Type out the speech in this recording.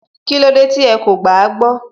Kílódé tí ẹ kò gbàágbọ́